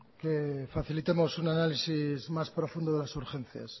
que facilitemos un análisis más profundo de las urgencias